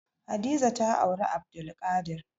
Hadiza ta auri Abdulkadir.